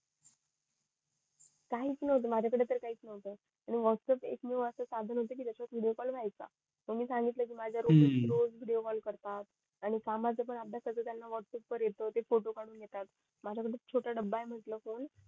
काही च नव्हतं आणि माझ्या कडे त काही च नव्हतं आणिव्हॅटप्प्स एकमेव असं साधन होत कि ज्याच्यात विडिओ कॉल होयचा मग मी सांगितलं कि रोज विडिओ कॉल करतात आणि कामाचं पण त्याना व्हॅटप्प्स वर येत ते फोटो कडून घेतात माझ्या कडे छोटा डब्बा ये म्हंटल